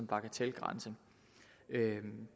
bagatelgrænse